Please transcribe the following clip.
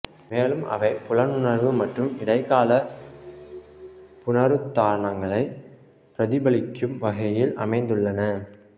மேலும் அவை புலனுணர்வு மற்றும் இடைக்கால புனருத்தாரணங்களை பிரதிபலிக்கும் வகையில் அமைந்துள்ளன